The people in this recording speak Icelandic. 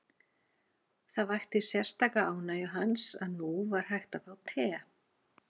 Það vakti sérstaka ánægju hans að nú var hægt að fá te.